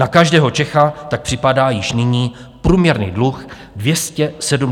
Na každého Čecha tak připadá již nyní průměrný dluh 275 000 korun.